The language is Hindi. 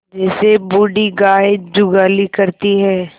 जैसे बूढ़ी गाय जुगाली करती है